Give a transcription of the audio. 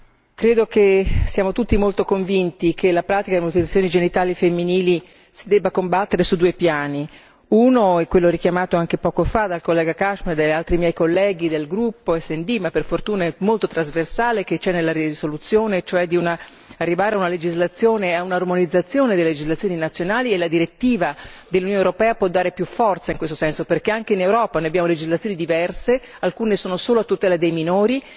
Signora Presidente, onorevoli colleghi, credo che siamo tutti molto convinti che la pratica delle mutilazioni genitali femminili si debba combattere su due piani. Uno è quello richiamato anche poco fa dall'onorevole Cashman e altri miei colleghi del gruppo SD, ma per fortuna molto trasversale che c'è nella risoluzione, cioè di arrivare a una legislazione e a un'armonizzazione delle legislazioni nazionali, e la direttiva dell'Unione europea può dare più forza in questo senso, perché anche in Europa noi abbiamo legislazioni diverse, alcune sono solo a tutela dei minori